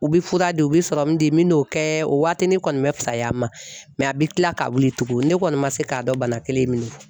U bɛ fura di u bɛ serɔmu di me n'o kɛ o waatinin kɔni bɛ fisaya n ma mɛ a bɛ kila ka wili tugun ne kɔni ma se k'a dɔn bana kelen min don .